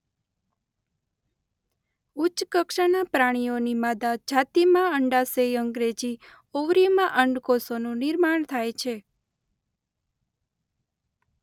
ઉચ્ચ કક્ષાના પ્રાણીઓની માદા જાતિમાં અંડાશય અંગ્રેજી: ઓવરી માં અંડ કોષોનું નિર્માણ થાય છે.